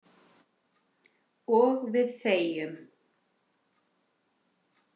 Og við þegjum.